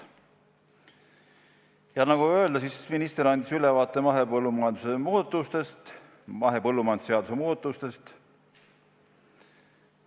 Nagu öeldud, andis ta ülevaate mahepõllumajanduse seaduse muudatustest.